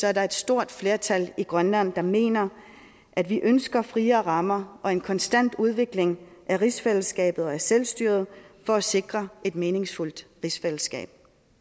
er der et stort flertal i grønland der mener at vi ønsker friere rammer og en konstant udvikling af rigsfællesskabet og af selvstyret for at sikre et meningsfuldt rigsfællesskab